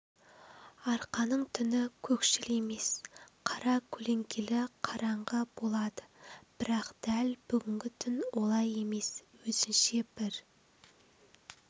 арқаның түні көкшіл емес қара көлеңкелі қараңғы болады бірақ дәл бүгінгі түн олай емес өзінше бір